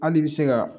Hali i bɛ se ka